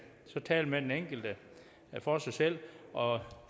så tale med den enkelte for sig selv og